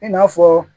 I n'a fɔ